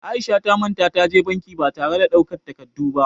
Aisha ta manta ta je banki ba tare da ta ɗau takardun ba